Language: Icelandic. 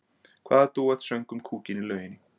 Hvaða dúett söng um kúkinn í lauginni?